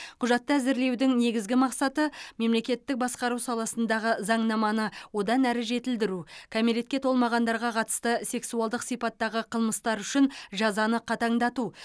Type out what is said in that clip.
құжатты әзірлеудің негізгі мақсаты мемлекеттік басқару саласындағы заңнаманы одан әрі жетілдіру кәмелетке толмағандарға қатысты сексуалдық сипаттағы қылмыстар үшін жазаны қатаңдату